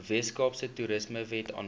weskaapse toerismewet vanjaar